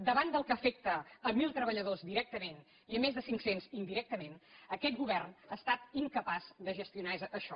davant del que afecta mil treballadors directament i més de cinc cents indirectament aquest govern ha estat incapaç de gestionar això